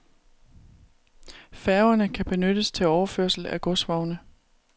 Færgerne kan benyttes til overførsel af godsvogne.